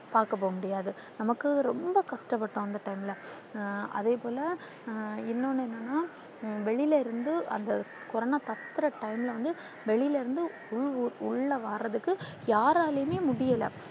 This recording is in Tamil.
பாக்க போக முடியாது நமக்கு ரொம்ப கஷ்டப்பட்டோம் அந்த time ல அதேபோல இன்னோன்னு என்னன்னா வெளில இருந்து அந்த கொரோனா பரவுற time ல வந்து வெளில இருந்து உள்ள வாரதுக்கு யாராலுமே முடில